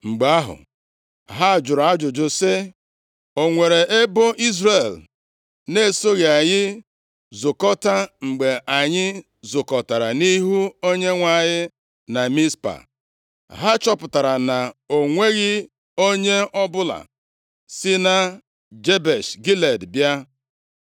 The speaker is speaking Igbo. Mgbe ahụ, ha jụrụ ajụjụ sị, “O nwere ebo Izrel na-esoghị anyị zukọta mgbe anyị zukọtara nʼihu Onyenwe anyị na Mizpa?” Ha chọpụtara na o nweghị onye ọbụla si na Jebesh Gilead bịa.